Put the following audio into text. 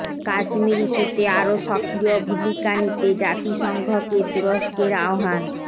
কাশ্মীর ইস্যুতে আরও সক্রিয় ভূমিকা নিতে জাতিসংঘকে তুরস্কের আহ্বান